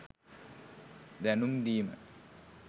දැනුම් දීම